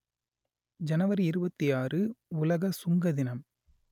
ஜனவரி இருபத்தி ஆறு உலக சுங்க தினம்